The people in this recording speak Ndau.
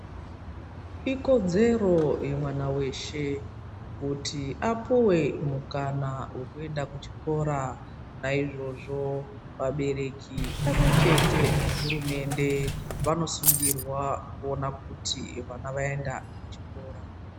Ikodzero yemwana weshe kuti apuwe mukana wekuenda kuchikora naizvozvo vabereki pamwechete nehurumende vamosungirwa kuona kuti vana vaenda kuchikora.